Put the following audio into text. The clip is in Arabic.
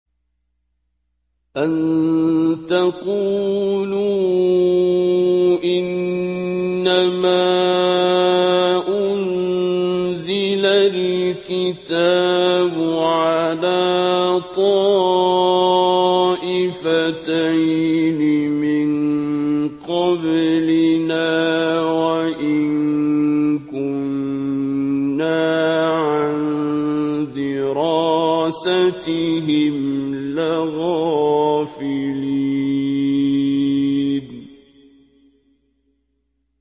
أَن تَقُولُوا إِنَّمَا أُنزِلَ الْكِتَابُ عَلَىٰ طَائِفَتَيْنِ مِن قَبْلِنَا وَإِن كُنَّا عَن دِرَاسَتِهِمْ لَغَافِلِينَ